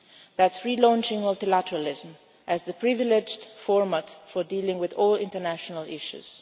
mentioned. This is launching multilateralism as the privileged format for dealing with all international